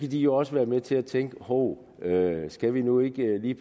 jo også være med til at tænke hov skal vi nu ikke lige